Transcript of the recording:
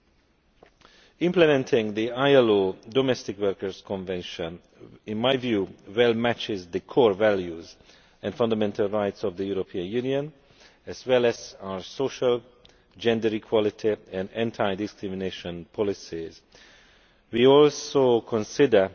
In my view, implementing the ILO Domestic Workers' Convention well matches the core values and fundamental rights of the European Union, as well as our social, gender equality and anti discrimination policies. We also consider